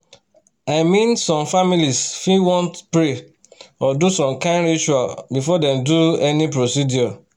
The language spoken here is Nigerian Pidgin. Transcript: i mean some families fit wan pray or do some kind ritual before dem do any procedure.